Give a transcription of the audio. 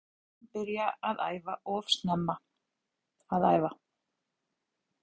Ég held að við öfum látið hann byrja að æfa of snemma að æfa.